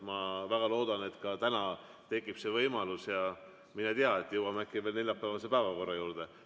Ma väga loodan, et ka täna tekib see võimalus, ja mine tea, jõuame äkki veel neljapäevase päevakorra juurde.